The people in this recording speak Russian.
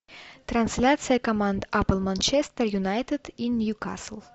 трансляция команд апл манчестер юнайтед и ньюкасл